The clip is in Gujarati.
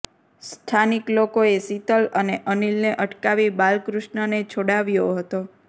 સ્થાનિક લોકોએ શીતલ અને અનિલને અટકાવી બાલકૃષ્ણને છોડાવ્યો હતો